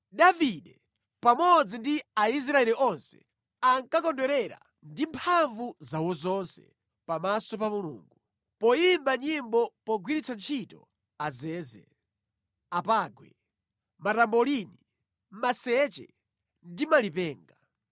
Davide pamodzi ndi Aisraeli onse ankakondwerera ndi mphamvu zawo zonse pamaso pa Mulungu, poyimba nyimbo pogwiritsa ntchito azeze, apangwe, matambolini, maseche ndi malipenga.